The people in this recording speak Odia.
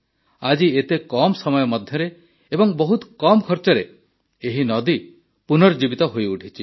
ଆଜି ଏତେ କମ ସମୟ ମଧ୍ୟରେ ଏବଂ ବହୁତ କମ ଖର୍ଚ୍ଚରେ ଏହି ନଈ ପୁନର୍ଜୀବିତ ହୋଇଉଠିଛି